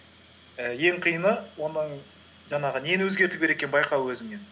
ііі ең қиыны оның жаңағы нені өзгерту керек екенін байқау өзіңнен